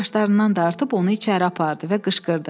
Saçlarından dartıb onu içəri apardı və qışqırdı.